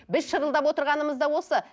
біз шырылдап отырғанымыз да осы